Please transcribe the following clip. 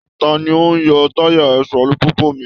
Ta ni ó ń yọ tayà ẹsẹ̀ alùpùpù mi?